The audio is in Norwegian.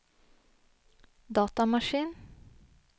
datamaskin